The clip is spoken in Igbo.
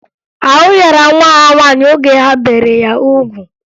Ahụ yara nwa ha nwaanyị oge ha bere ya ugwu